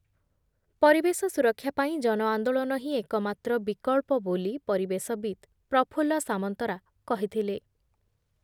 ପରିବେଶ ସୁରକ୍ଷା ପାଇଁ ଜନଆନ୍ଦୋଳନ ହିଁ ଏକମାତ୍ର ବିକଳ୍ପ ବୋଲି ପରିବେଶବିତ୍ ପ୍ରଫୁଲ୍ଲ ସାମନ୍ତରା କହିଥିଲେ ।